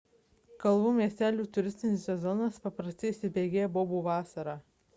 kalvų miestelių turistinis sezonas paprastai įsibėgėja bobų vasarą